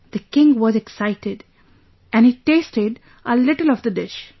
The king was excited and he tasted a little of the dish